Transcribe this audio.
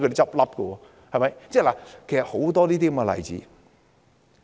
其實還有很多其他例子。